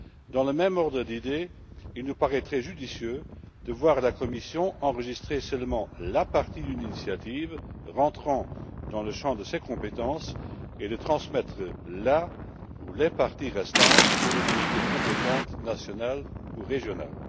Dans le même ordre d'idées, il nous paraîtrait judicieux de voir la Commission enregistrer seulement la partie d'une initiative entrant dans le champ de ses compétences et de transmettre la ou les parties restantes aux autorités compétentes, nationales ou régionales.